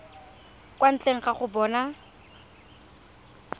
kwa ntle ga go bona